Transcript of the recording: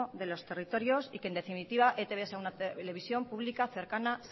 de los territorios y que en definitiva etb sea una televisión pública cercana